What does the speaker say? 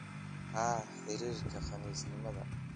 Haa xirirka qanisnimada